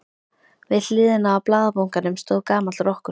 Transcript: Við hliðina á blaðabunkanum stóð gamall rokkur.